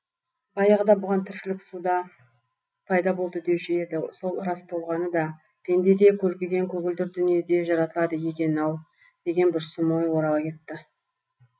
баяғыда бұған тіршілік суда пайда болды деуші еді сол рас болғаны да пенде де көлкіген көгілдір дүниеде жаратылады екен ау деген бір сұм ой орала кетті